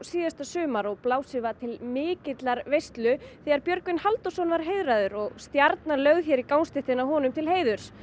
sumar og blásið var til mikillar veislu þegar Björgvin Halldórsson var heiðraður og stjarna lögð hér í gangstéttina honum til heiðurs